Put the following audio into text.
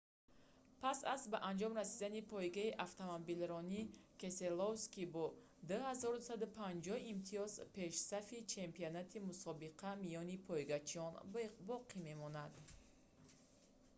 пас аз ба анҷом расидани пойгаи автомобилронӣ кеселовский бо 2250 имтиёз пешсафи чемпионати мусобиқа миёни пойгачиён боқӣ мемонад